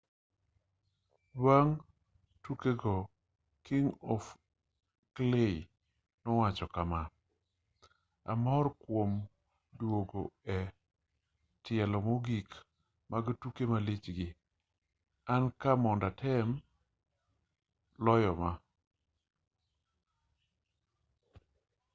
bang tukr go king of clay nowacho kama amor kuom duogo e tielo mogik mag tuke malich gi an ka mondo atem loyo ma